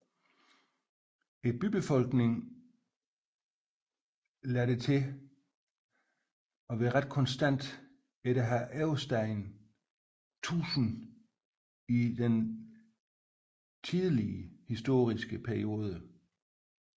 Bybefolkningen lader dog til ret konstant at have oversteget 1000 i den tidlige historiske periode